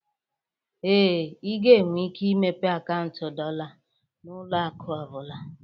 Ee, ị ga-enwe ike imepe akaụntụ dollar na ụlọ akụ ọ bụla